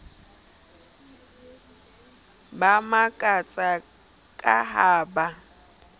ba makatsa ka ha ba